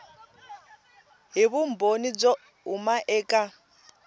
hi vumbhoni byo huma eka